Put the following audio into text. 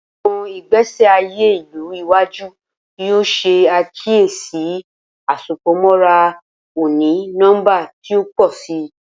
Awọn igbesi aye ilu iwaju yoo ṣe akiyesi Asopọmọra oni-nọmba ti o pọ si.